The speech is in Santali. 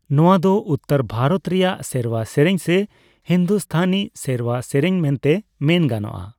ᱱᱚᱣᱟ ᱫᱚ ᱩᱛᱛᱚᱨ ᱵᱷᱟᱨᱚᱛ ᱨᱮᱭᱟᱜ ᱥᱮᱨᱣᱟ ᱥᱮᱨᱮᱧ ᱥᱮ ᱦᱤᱱᱫᱩᱥᱛᱷᱟᱹᱱᱤ ᱥᱮᱨᱣᱟ ᱥᱮᱨᱮᱧ ᱢᱮᱱᱛᱮ ᱢᱮᱱ ᱜᱟᱱᱚᱜᱼᱟ ᱾